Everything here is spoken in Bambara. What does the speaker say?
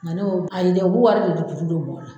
Nga ne y'o ayi dɛ o bu wari de ju juru don mɔw la